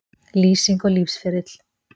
Lýsing og lífsferill